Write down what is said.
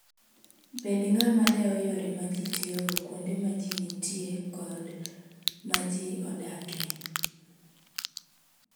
Bed ng'ama dewo yore ma ji tiyogo kuonde ma ji nitie kod ma ji ok odakie.